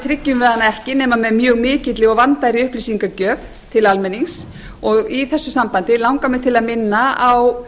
við hana ekki nema með mjög mikilli og vandaðri upplýsingagjöf til almennings og í þessu sambandi langar mig til að minna á